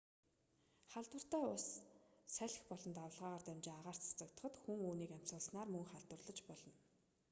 халдвартай ус салхи болон давалгаагаар дамжин агаарт цацагдахад хүн үүнийг нь амьсгалснаар мөн халдварлаж болно